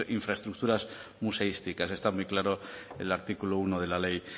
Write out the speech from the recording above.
infraestructuras museísticas está muy claro el artículo uno de la ley